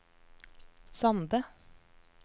Sande